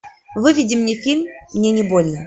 выведи мне фильм мне не больно